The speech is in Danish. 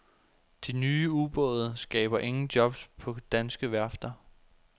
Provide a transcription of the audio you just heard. De nye ubåde skaber ingen jobs på danske værfter.